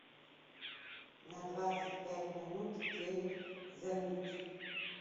на двадцать пять минут телик замьють